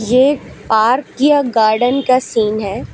ये एक पार्क या गार्डन का सीन है।